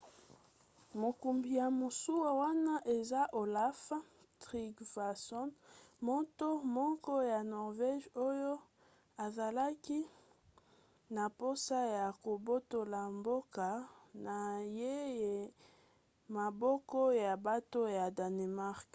mokumbi ya masuwa wana eza olaf trygvasson moto moko ya norvége oyo azalaki na mposa ya kobotola mboka na ye na maboko ya bato ya danemark